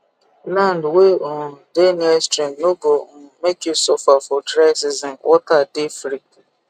land wey um dey near stream no go um make you suffer for dry season water dey free